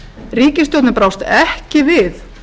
ríkisstjórnin brást ekki við